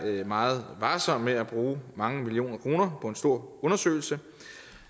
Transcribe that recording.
meget varsom med at bruge mange millioner kroner på en stor undersøgelse